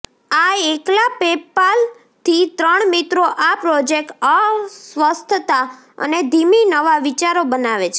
આ એકલા પેપાલ થી ત્રણ મિત્રો આ પ્રોજેક્ટ અસ્વસ્થતા અને ધીમી નવા વિચારો બનાવે છે